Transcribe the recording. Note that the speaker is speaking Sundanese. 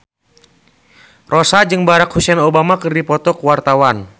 Rossa jeung Barack Hussein Obama keur dipoto ku wartawan